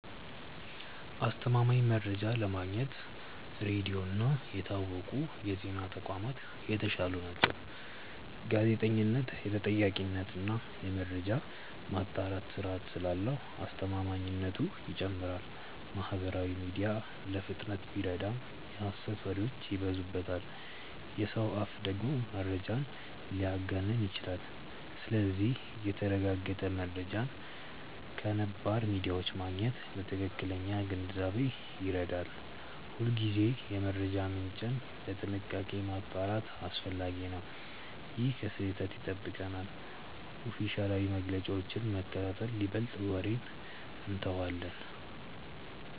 አስተማማኝ መረጃ ለማግኘት ሬዲዮ እና የታወቁ የዜና ተቋማት የተሻሉ ናቸው። ጋዜጠኝነት የተጠያቂነት እና የመረጃ ማጣራት ስርዓት ስላለው አስተማማኝነቱ ይጨምራል። ማህበራዊ ሚዲያ ለፍጥነት ቢረዳም የሐሰት ወሬዎች ይበዙበታል። የሰው አፍ ደግሞ መረጃን ሊያጋንን ይችላል። ስለዚህ የተረጋገጠ መረጃን ከነባር ሚዲያዎች ማግኘት ለትክክለኛ ግንዛቤ ይረዳል። ሁልጊዜ የመረጃ ምንጭን በጥንቃቄ ማጣራት አስፈላጊ ነው። ይህ ከስህተት ይጠብቀናል። ኦፊሴላዊ መግለጫዎችን መከታተል ይበልጣል ወሬን እንተዋለን።